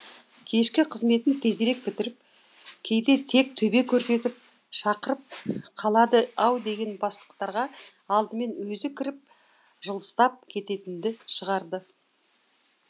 кешкі қызметін тезірек бітіріп кейде тек төбе көрсетіп шақырып қалады ау деген бастықтарға алдымен өзі кіріп жылыстап кететінді шығарды